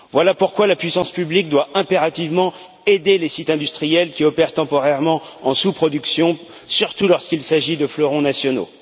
Voilà pourquoi la puissance publique doit impérativement aider les sites industriels qui opèrent temporairement en sous production, surtout lorsqu'il s'agit de fleurons nationaux.